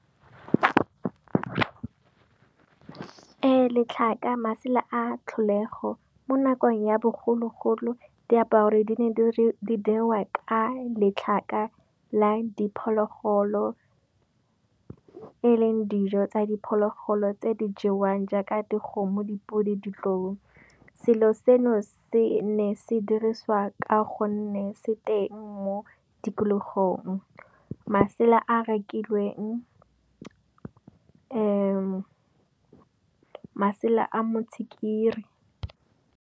letlhaka masela a tlholego, mo nakong ya bogologolo diaparo di diriwa ka letlhaka la diphologolo. E leng dijo tsa diphologolo tse di jewang jaaka dikgomo, dipodi, ditlou. Selo seno se ne se diriswa ka go nne se teng mo tikologong masela a rekilweng masela a motshikiri.